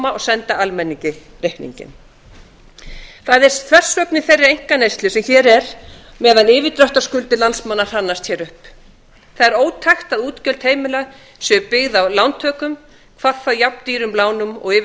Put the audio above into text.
og senda almenning reikninginn það er þversögn í þeirri einkaneyslu sem hér er meðan yfirdráttarskuldir landsmanna hrannast upp það er ótækt að útgjöld heimila séu byggð á lántökum hvað þá jafndýrum lánum og